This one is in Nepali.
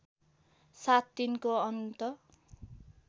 साथ तिनको अन्त